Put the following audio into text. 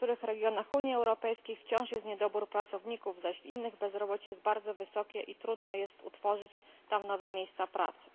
w niektórych regionach Unii Europejskiej wciąż jest niedobór pracowników, zaś w innych bezrobocie jest bardzo wysokie i trudno jest utworzyć tam nowe miejsca pracy.